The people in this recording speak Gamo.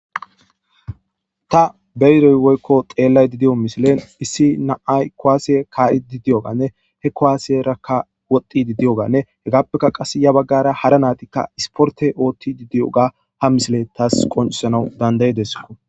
ta beyidoy woykko xeellayda diyo misilen issi na7ay kowaasiye kaa7i didiyoganne he kowaasiyerakka woti didiyoganne hegappekka qass ya baggara hara naatikka isporte oothti diddiyoga ha misile taas qoncisanau dandayidesko